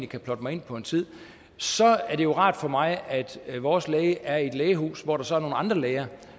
kan plotte mig ind på en tid så er det jo rart for mig at vores læge er i et lægehus hvor der så er nogle andre læger